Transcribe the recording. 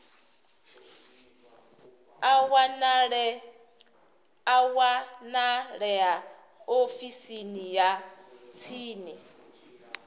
a wanalea ofisini ya tsini